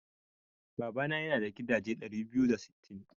Babana yana da gidaje ɗari biyu da sittin.